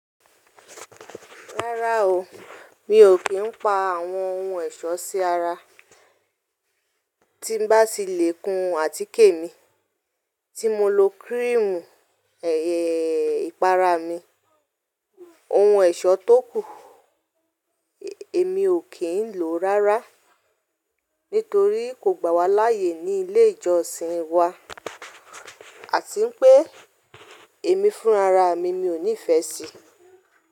Rárá o, mi ò kí ń pa àwọn ohun ẹ̀ṣọ́ sí ara tí bá ti lè kun àtíkè mi, tí mo lo kírímù ẹyẹ ìpara mi. Ohun ẹ̀ṣọ́ tó kù, èmi ò kí ń lò ó rárá nítorí kò gbà wá láàyè ní ilé ìjọsìn wa àti pé èmi fún ara mi, mi ò nífẹ̀ẹ́ sí i.